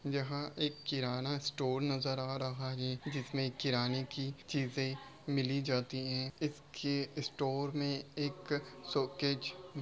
यहां एक किराना स्टोर नजर आ रहा है | जिसमे किराने की चीज़े मिली जाती हैं इसके स्टोर में एक सोकेज --